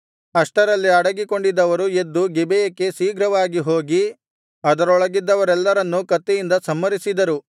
ಅಷ್ಟರಲ್ಲಿ ಅಡಗಿಕೊಂಡಿದ್ದವರು ಎದ್ದು ಗಿಬೆಯಕ್ಕೆ ಶೀಘ್ರವಾಗಿ ಹೋಗಿ ಅದರೊಳಗಿದ್ದವರೆಲ್ಲರನ್ನೂ ಕತ್ತಿಯಿಂದ ಸಂಹರಿಸಿದರು